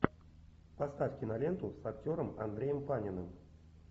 поставь киноленту с актером андреем паниным